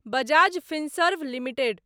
Bajaj Finserv limited